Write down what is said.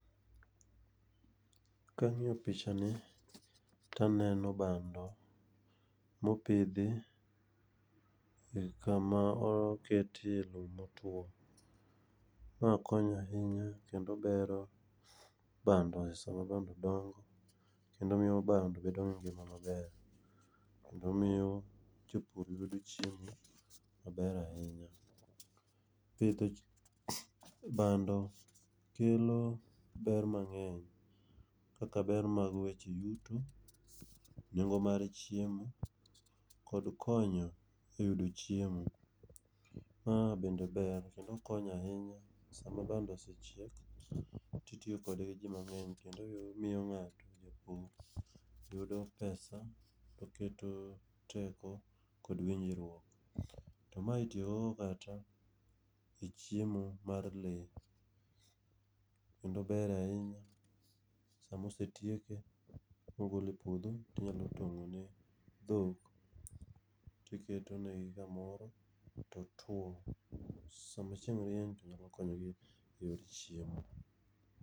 Kang'iyo picha ni to aneno bando mopidhi e kama oketie lum motwo. Ma konyo ahinya kendo bero bando e sama bando dongo kendo miyo bando bedo gi ngima maber. Kendo miyo jopur yudo chiemo maber ahinya, pidho bando kelo ber mang'eny kaka ber mar weche yuto, nengo mar chiemo kod konyo eyudo chiemo. Maa bende ber kendo konyo ahinya sama bando osechiek to itiyo kode gi ji mang'eny, omiyo ng'ato yudo pesa kendo keto teko kod winjruok to mae itiyo godo kata e chiemo mar lee kendo ber ahinya sama osetieke mogole epuodho, to inyalo tong'e ne dhok to iketonegi kamoro totwo, sama chieng' rieny to nyalo konyogi e chiemo.